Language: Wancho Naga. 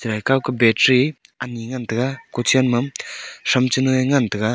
kuh battery ani ngan tai ga ko chen ma .]